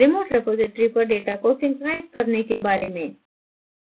remote repository पर data को synchronize करने के बारे में